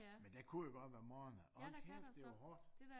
Men der kunne jo godt være morgener hold kæft det var hårdt